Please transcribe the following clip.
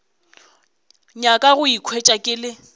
nyaka go ikhwetša ke le